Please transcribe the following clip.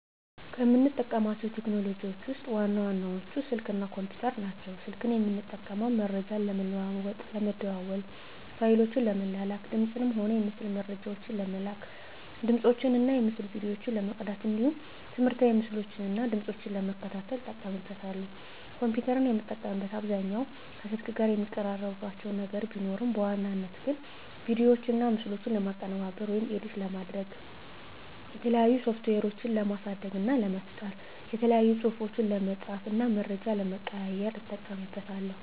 ከምጠቀማቸው ቴክኖሎጂዎችን ውስጥ ዋና ዋናዎቹ ስልክ እና ኮምፒተር ናቸው። ስልክን የምጠቀመው መረጃ ለመለዋዎጥ ለመደዋዎል፣ ፋይሎችን ለመላላክ፣ የድምፅንም ሆነ የምስል መረጃዎችን ለመላላክ፣ ድምፆችን እና የምስል ቪዲዮዎችን ለመቅዳት እንዲሁም ትምህርታዊ ምስሎችን እና ድምጾችን ለመከታተል እጠቀምበታለሁ። ኮምፒተርን የምጠቀምበት አብዛኛውን ከስልክ ጋር የሚቀራርባቸው ነገር ቢኖርም በዋናነት ግን ቪዲዮዎችና ምስሎችን ለማቀነባበር (ኤዲት) ለማድረግ፣ የተለያዩ ሶፍትዌሮችን ለማሳደግ እና ለመፍጠር፣ የተለያዩ ፅሁፎችን ለመፃፍ እና መረጃ ለመቀያየር ... እጠቀምበታለሁ።